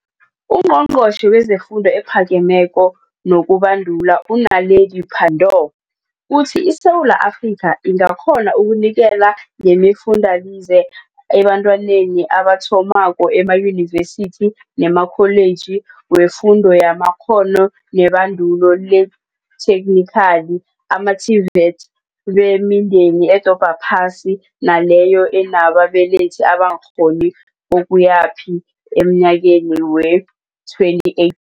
UNgqongqotjhe wezeFundo ePhake meko nokuBa ndula u-Naledi Pandor uthi iSewula Afrika ingakghona ukunikela ngemifundalize ebentwaneni abathomako emayunivesithi nemaKholiji weFundo yamaKghono neBandulo leThekhnikhali, ama-TVET, bemindeni edobha phasi naleyo enaba belethi abangarholi kokuya phi emnyakeni lo wee-2018.